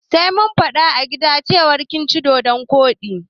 Sai mun fada a gida cewar ka ci dodon koɗi.